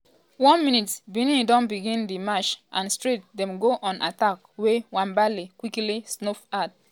1 min - benin don begin di match and straight dem go on attack wey nwabali quickly snuff out.